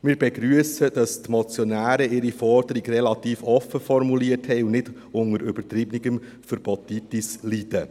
Wir begrüssen, dass die Motionäre ihre Forderung relativ offen formuliert haben und nicht unter übertriebener Verbotitis leiden.